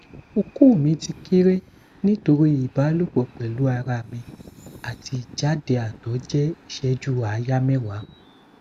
oko mi ti kere nitori ibalopo pelu ara mi ati ijade ato je iseju aya mewa